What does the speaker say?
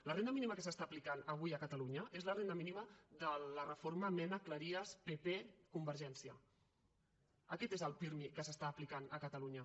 la renda mínima que s’està aplicant avui a catalunya és la renda mínima de la reforma menacleries ppconvergència aquest és el pirmi que s’està aplicant a catalunya